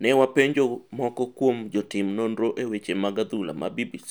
Newa penjo moko kuopm jotim nonro e weche mag adhula ma BBC